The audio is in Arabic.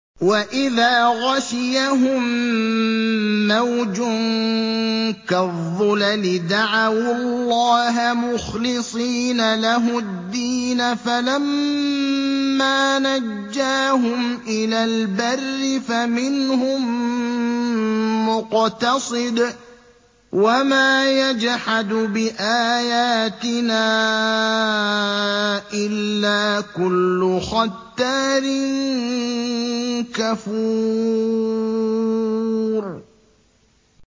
وَإِذَا غَشِيَهُم مَّوْجٌ كَالظُّلَلِ دَعَوُا اللَّهَ مُخْلِصِينَ لَهُ الدِّينَ فَلَمَّا نَجَّاهُمْ إِلَى الْبَرِّ فَمِنْهُم مُّقْتَصِدٌ ۚ وَمَا يَجْحَدُ بِآيَاتِنَا إِلَّا كُلُّ خَتَّارٍ كَفُورٍ